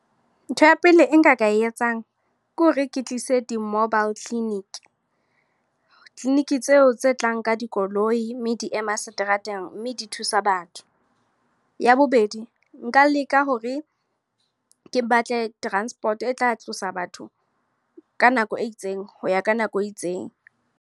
Ntho ya pele e nka ka e etsang ke hore ke tlise di-mobile clinic. Clinic tseo tse tlang ka dikoloi. Mme di ema seterateng mme di thusa ba batho. Ya bobedi, nka leka hore ke batle transport, e tla tlosa batho ka nako e itseng. Ho ya ka nako e itseng.